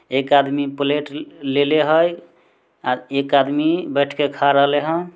एक आदमी प्लेट लेले हई आर एक आदमी बैठ के खा रहले हई।